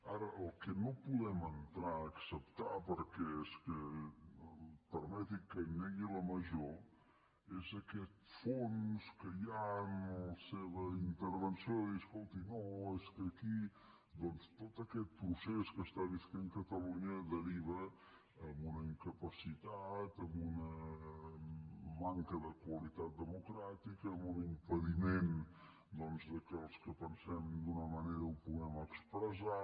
ara el que no podem entrar a acceptar perquè és que permeti’m que negui la major és aquest fons que hi ha en la seva intervenció de dir escolti no és que aquí doncs tot aquest procés que viu catalunya deriva en una incapacitat en una manca de qualitat democràtica en un impediment que els que pensem d’una manera ho puguem expressar